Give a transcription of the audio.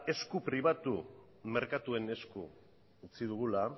esku pribatu merkatuen esku utzi dugula